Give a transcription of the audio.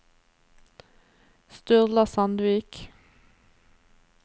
Sturla Sandvik